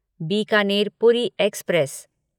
Bikaner Puri express